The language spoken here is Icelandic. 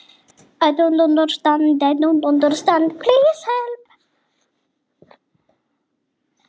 Minni skammtar geta valdið ógleði, uppköstum, niðurgangi, magaverkjum og krampa.